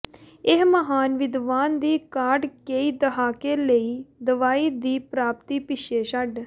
ਇਸ ਮਹਾਨ ਵਿਦਵਾਨ ਦੀ ਕਾਢ ਕਈ ਦਹਾਕੇ ਲਈ ਦਵਾਈ ਦੀ ਪ੍ਰਾਪਤੀ ਪਿੱਛੇ ਛੱਡ